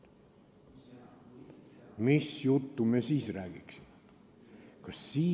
Mis juttu me siis räägiksime?